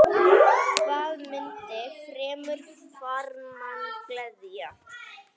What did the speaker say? Hvað mundi fremur farmann gleðja?